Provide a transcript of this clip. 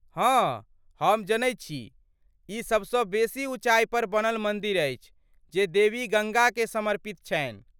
हँ, हम जनैत छी। ई सभसँ बेसी उँचाइ पर बनल मन्दिर अछि जे देवी गङ्गाकेँ समर्पित छन्हि।